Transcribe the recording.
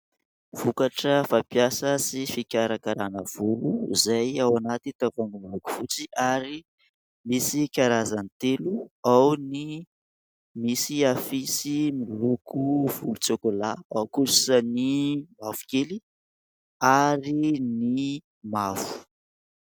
Vokatra fampiasa sy fikarakarana volo, izay ao anaty tavoahangy miloko fotsy ary misy karazany telo. Ao ny misy afisy miloko volontsôkôlà, ao kosa ny mavokely ary ny mavo.